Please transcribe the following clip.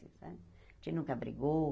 A gente nunca brigou.